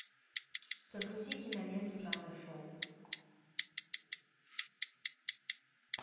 загрузи киноленту жанра шоу